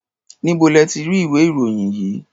Níbo lẹ ti ra ìwé-ìròyìn yìí?